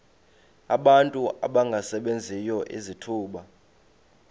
abantu abangasebenziyo izithuba